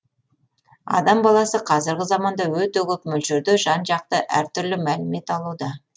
адам баласы қазіргі заманда өте көп мөлшерде жан жақты әртүрлі мәлімет алуда